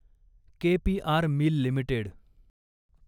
K P R mill limited